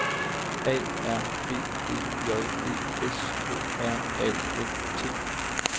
A R B E J D S K R A F T